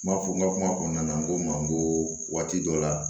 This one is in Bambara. N m'a fɔ n ka kuma kɔnɔna na n ko n ma n ko waati dɔ la